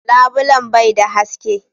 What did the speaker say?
Labilen bai da haske.